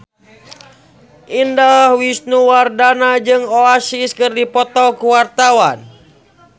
Indah Wisnuwardana jeung Oasis keur dipoto ku wartawan